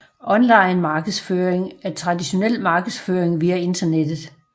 Online markedsføring er traditionel markedsføring via internettet